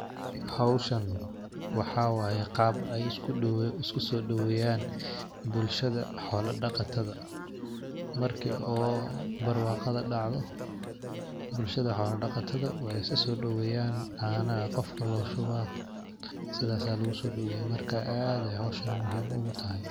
Howshan waxaa waye qab ay iskuso daweyan bulshada xola daqatada . Marki oo barwaqada dacdho bulshada xola daqatadha way isaso daweyan, cana aa qofka loshubaah sidas aa lugusodaweyaah marka, ad ay howshan muhim ugutahay.